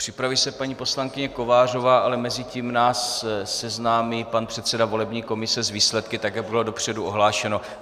Připraví se paní poslankyně Kovářová, ale mezi tím nás seznámí pan předseda volební komise s výsledky tak, jak bylo dopředu ohlášeno.